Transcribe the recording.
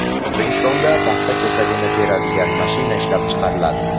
O‘zbekistonda paxta ko‘sagini teradigan mashina ishlab chiqariladi.